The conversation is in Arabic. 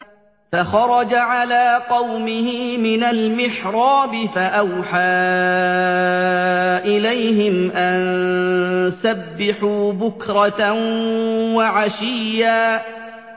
فَخَرَجَ عَلَىٰ قَوْمِهِ مِنَ الْمِحْرَابِ فَأَوْحَىٰ إِلَيْهِمْ أَن سَبِّحُوا بُكْرَةً وَعَشِيًّا